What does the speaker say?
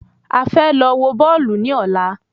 A fẹ́ lọ wọ Bọ́ọ̀lù ní ọ̀la